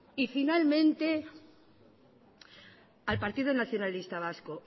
y finalmente al partido nacionalista vasco